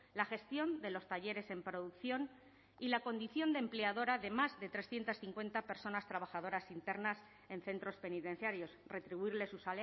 la gestión de los talleres en producción y la condición de empleadora de más de trescientos cincuenta personas trabajadoras internas en centros penitenciarios retribuirles sus